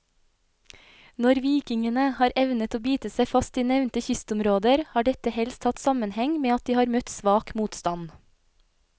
Når vikingene har evnet å bite seg fast i nevnte kystområder, har dette helst hatt sammenheng med at de har møtt svak motstand.